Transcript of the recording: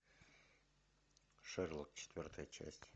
шерлок четвертая часть